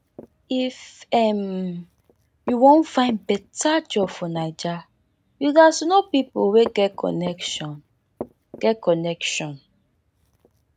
if um you wan find beta job for naija you gats know pipo wey get connection get connection